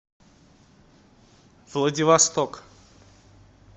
владивосток